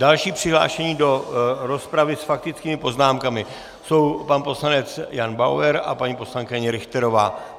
Další přihlášení do rozpravy s faktickými poznámkami jsou pan poslanec Jan Bauer a paní poslankyně Richterová.